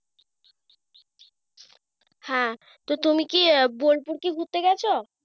হ্যাঁ তো তুমি কি আহ বোলপুর কি ঘুরতে গেছ?